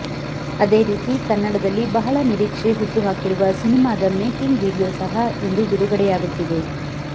ಅದೇ ರೀತಿ ಕನ್ನಡದಲ್ಲಿ ಬಹಳ ನಿರೀಕ್ಷೆ ಹುಟ್ಟುಹಾಕಿರುವ ಸಿನಿಮಾದ ಮೇಕಿಂಗ್ ವಿಡಿಯೋ ಸಹ ಇಂದು ಬಿಡುಗಡೆಯಾಗುತ್ತಿದೆ